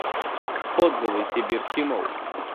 отзывы сибирский молл